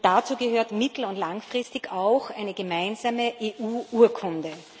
Dazu gehört mittel und langfristig auch eine gemeinsame EU Urkunde.